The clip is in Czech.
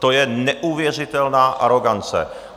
To je neuvěřitelná arogance.